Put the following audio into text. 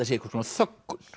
sé einhvers konar þöggun